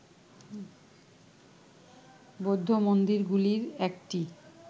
বৌদ্ধ মন্দিরগুলির একটি